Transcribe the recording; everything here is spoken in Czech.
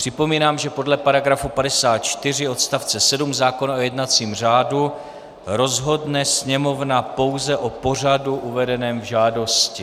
Připomínám, že podle § 54 odst. 7 zákona o jednacím řádu rozhodne Sněmovna pouze o pořadu uvedeném v žádosti.